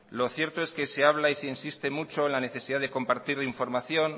lo cierto es que se habla y se insiste mucho en la necesidad de compartir la información